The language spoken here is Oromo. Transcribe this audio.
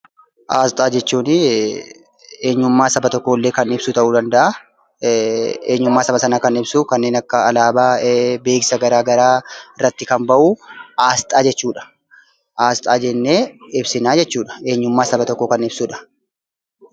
Asxaan eenyummaa saba tokkoo ibsuu danda'a. Kanneen akka alaabaa fi beeksisa garaa garaa fa'a irratti kan bahu asxaa jechuu dandeenya.